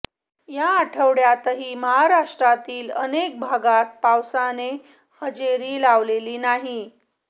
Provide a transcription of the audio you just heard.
या आठवड्यातही महाराष्ट्रातील अनेक भागात पावसाने हजेरी लावलेली नाही